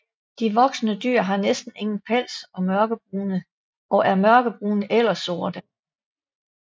De voksne dyr har næsten ingen pels og er mørkebrune eller sorte